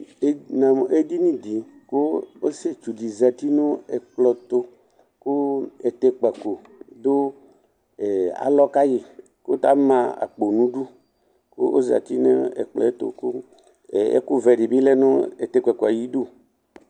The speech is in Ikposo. Namʋ edini dɩ kʋ ɔsietsu dɩ zati nʋ ɛkplɔɛtʋ kʋ Ɛtɛkpako dʋ alɔ kayɩ ,kʋ tama akpo n'udu kʋ ozati n'ɛkplɔ ɛtʋ Kʋ ɛkʋvɛ dɩ bɩ lɛ nʋ ɛtɛkpako ayidu